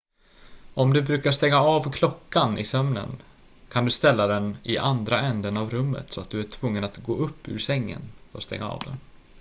om du brukar stänga av klockan i sömnen kan du ställa den i andra änden av rummet så att du är tvungen att gå upp ur sängen och stänga av den